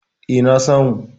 E, na samu.